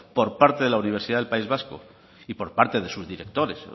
por parte de la universidad del país vasco y por parte de sus directores